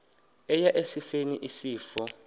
eya esifeni isifo